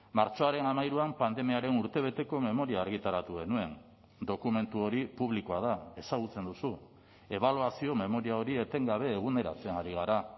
martxoaren hamairuan pandemiaren urtebeteko memoria argitaratu genuen dokumentu hori publikoa da ezagutzen duzu ebaluazio memoria hori etengabe eguneratzen ari gara